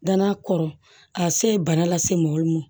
Dann'a kɔrɔ a se ye bana lase mɔgɔ min ma